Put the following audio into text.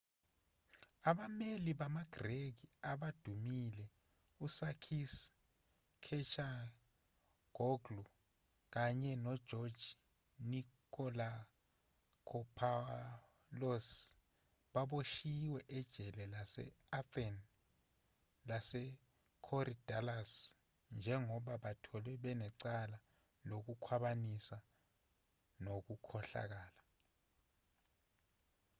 abameli bamagreki abadumile usakis kechagioglou kanye nogeorge nikolakopoulos baboshiwe ejele lase-athene lasekorydallus njengoba batholwe banecala lokukhwabanisa nokukhohlakala